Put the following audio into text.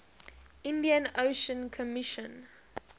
indian ocean commission